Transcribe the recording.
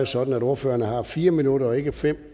sådan at ordføreren har fire minutter og ikke fem